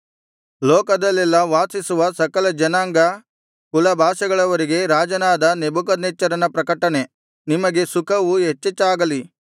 ಲೋಕದಲ್ಲೆಲ್ಲಾ ವಾಸಿಸುವ ಸಕಲ ಜನಾಂಗ ಕುಲ ಭಾಷೆಗಳವರಿಗೆ ರಾಜನಾದ ನೆಬೂಕದ್ನೆಚ್ಚರನ ಪ್ರಕಟನೆ ನಿಮಗೆ ಸುಖವು ಹೆಚ್ಚೆಚ್ಚಾಗಲಿ